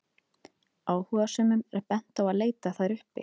áhugasömum er bent á að leita þær uppi